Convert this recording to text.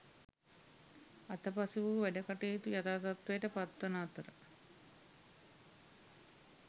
අතපසු වූ වැඩකටයුතු යථා තත්ත්වයට පත්වන අතර